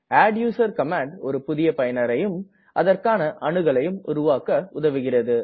adduser command ஒரு புதிய பயனரையும் அதற்கான அணுகலையும் உருவாக்க உதவுகிறது